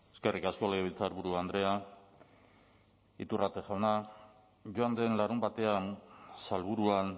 eskerrik asko legebiltzarburu andrea iturrate jauna joan den larunbatean salburuan